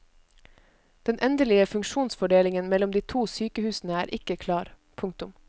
Den endelige funksjonsfordelingen mellom de to sykehusene er ikke klar. punktum